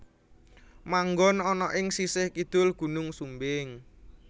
Manggon ana ing sisih kidul Gunung Sumbing